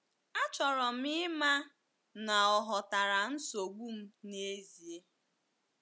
um “ Achọrọ m ịma na ọ ghọtara nsogbu m n’ezie.